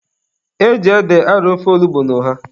E ji ede arọ ofe onugbu na ọha.